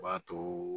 O b'a too